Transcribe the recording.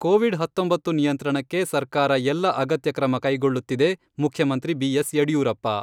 Covid ಹತ್ತೊಂಬತ್ತು ನಿಯಂತ್ರಣಕ್ಕೆ ಸರ್ಕಾರ ಎಲ್ಲ ಅಗತ್ಯ ಕ್ರಮ ಕೈಗೊಳ್ಳುತ್ತಿದೆ, ಮುಖ್ಯಮಂತ್ರಿ ಬಿ ಎಸ್ ಯಡಿಯೂರಪ್ಪ.